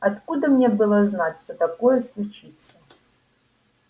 откуда мне было знать что такое случится